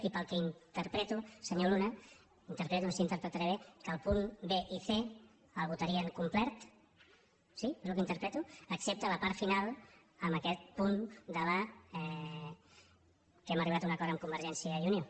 i pel que interpreto senyor luna interpreto no sé si interpretaré bé que el punt b i és el que interpreto excepte la part final amb aquest punt que hem arribat a un acord amb convergència i unió